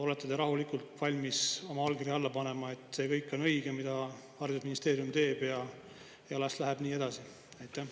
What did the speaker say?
Olete te rahulikult valmis oma allkirja alla panema, et see kõik on õige, mida haridusministeerium teeb, ja las läheb nii edasi?